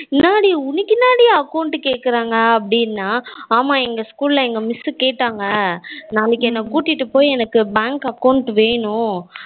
ஏ account கேக்குறாங்க அப்டினா ஆமா எங்க school ல எங்க miss கேட்டாங்க நாளைக்கு என்ன கூட்டிட்டு போய் bank ல Bank account வேணும்.